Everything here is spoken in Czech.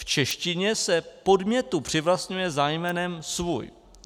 V češtině se podmětu přivlastňuje zájmenem "svůj".